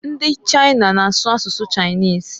Ndi China na-asu asụsụ Chinese.